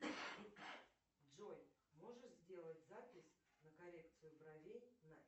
джой можешь сделать запись на коррекцию бровей на